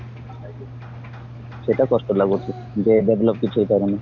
ସେଇଟା କଷ୍ଟ ଲାଗୁଚି ଯେ develop କିଛି ହେଇପାରୁନି